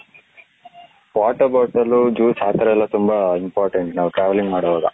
water bottle juice ಅತರ ಎಲ್ಲ ತುಂಬಾ important ನಾವು travelling ಮಾಡುವಾಗ .